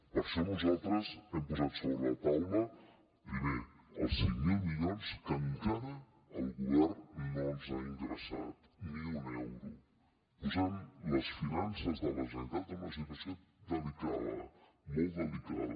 per això nosaltres hem posat sobre la taula primer els cinc mil milions que encara el govern no ens ha ingressat ni un euro i ha posat les finances de la generalitat en una situació delicada molt delicada